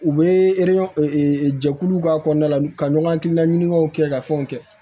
U bɛ jɛkuluw k'a kɔnɔna la ka ɲɔgɔn hakilinan ɲinikaw kɛ ka fɛnw kɛ